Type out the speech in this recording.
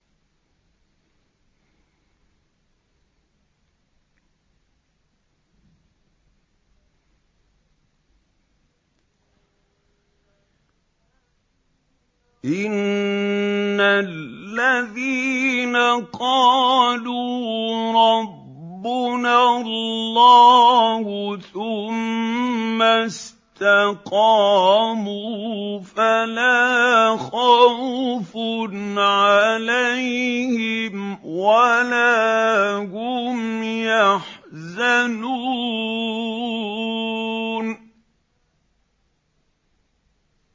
إِنَّ الَّذِينَ قَالُوا رَبُّنَا اللَّهُ ثُمَّ اسْتَقَامُوا فَلَا خَوْفٌ عَلَيْهِمْ وَلَا هُمْ يَحْزَنُونَ